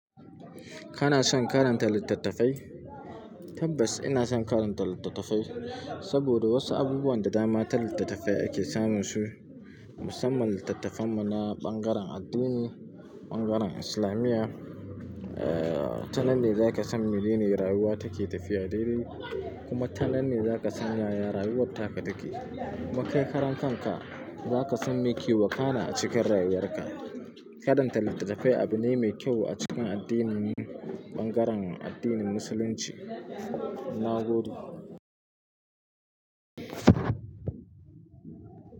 Kana son karanta littattafai? Tabbas ina son karanta littattafai, saboda wasu abubuwan da dama ta littattafai ake samun su. Musamman littattafan mu na ɓangaren addini, ɓangaren islamiyya. Eh, tanan ne zaka san menene rayuwa take tafiya daidai, kuma tanan ne zaka san yaya rayuwarka take. Makai karan kanka zaka san me ke wakana a cikin rayuwar ka. Karanta littattafai abune mai kyau a cikin addinin mu, ɓangaren addinin musulunci. Na gode.